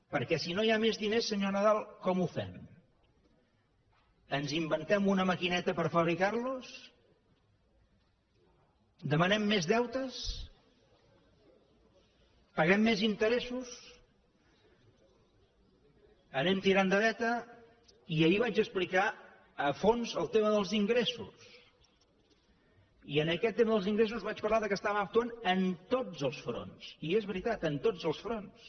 perquè si no hi ha més diners senyor nadal com ho fem ens inventem una maquineta per fabricar los demanem més deutes paguem més interessos anem tirant de veta i ahir vaig explicar a fons el tema dels ingressos i en aquest tema dels ingressos vaig parlar que estàvem actuant en tots els fronts i és veritat en tots els fronts